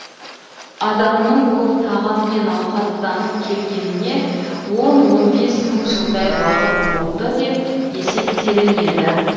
адамның бұл тағаммен ауқаттанып келгеніне он он бес мың жылдай уақыт болды деп есептелінеді